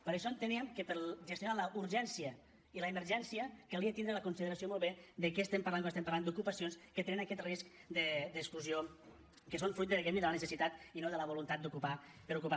per això enteníem que per a gestionar la urgència i l’emergència calia tindre la consideració molt bé de què estem parlant quan estem parlant d’ocupacions que tenen aquest risc d’exclusió que són fruit diguem ne de la necessitat i no de la voluntat d’ocupar per ocupar